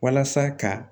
Walasa ka